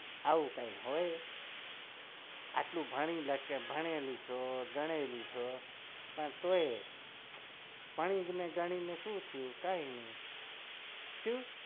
આવું કઈ હોય આટલું ભણેલી છે ગણેલી છે પણ તો એ ભણી ગણી ને શું થયું કઈ નહિ